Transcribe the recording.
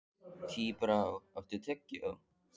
Tíbrá, áttu tyggjó?